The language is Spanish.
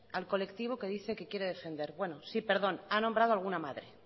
al colectivo que dice que quiere defender bueno sí perdón ha nombrado alguna madre